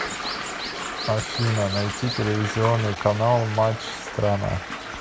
афина найти телевизионный канал матч страна